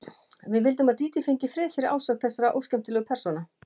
Við vildum að Dídí fengi frið fyrir ásókn þessara óskemmtilegu persóna.